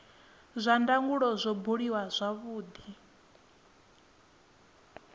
zwa ndangulo zwo buliwa zwavhudi